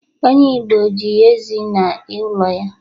onye Igbo ji ezi na ulo ya